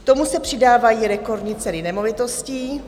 K tomu se přidávají rekordní ceny nemovitostí